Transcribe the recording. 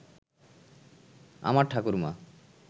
আমার ঠাকুরমা